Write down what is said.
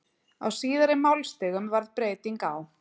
Á síðari málstigum varð breyting á.